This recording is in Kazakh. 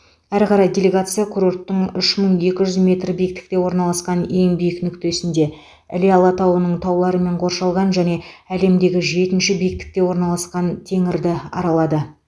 әрі қарай делегация курорттың үш мың екі жүз метр биіктікте орналасқан ең биік нүктесінде іле алатауының тауларымен қоршалған және әлемдегі жетінші биіктікте орналасқан теңірді аралады